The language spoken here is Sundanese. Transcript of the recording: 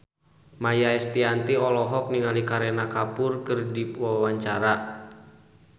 Maia Estianty olohok ningali Kareena Kapoor keur diwawancara